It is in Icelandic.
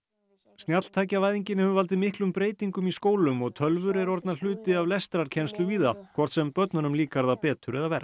snjalltækjavæðingin hefur valdið miklum breytingum í skólum og tölvur eru orðnar hluti af lestrarkennslu víða hvort sem börnunum líkar það betur eða verr